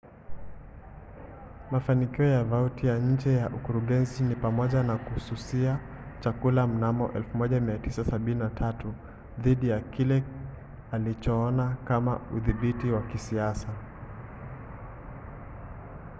mafanikio ya vautier nje ya ukurugenzi ni pamoja na kususia chakula mnamo 1973 dhidi ya kile alichoona kama udhibiti wa kisiasa